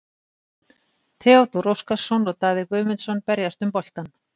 Theodór Óskarsson og Daði Guðmundsson berjast um boltann.